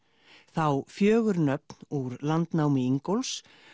þá fjögur nöfn úr landnámi Ingólfs